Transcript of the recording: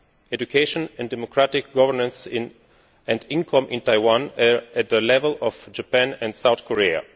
Education, democratic governance and income in Taiwan are at the level of Japan and South Korea.